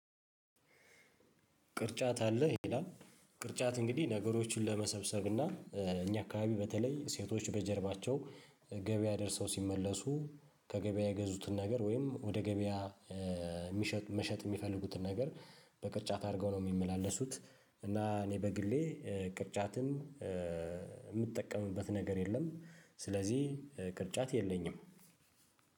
ቅርጫት አለህ? ይላል ቅርጫት እንግዲህ ነገሮችን ለመሰብሰብ እና እኛ አካባቢ በተለይ ሴቶች በጀርባቸው፤ ገበያ ደርሰው ሲመለሱ፤ ከገበያ የገዙትን ነገር ወይም ወደ ገበያ የሚሸጥ መሸጥ የሚፈልጉትን ነገር በቅርጫት አድርገው ነው የሚመላለሱት። እና እኔ በግሌ ቅርጫትን የምጠቀምበት ነገር የለም ስለዚህ ቅርጫት የለኝም።